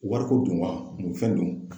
Wariko dun wa mun fɛn dun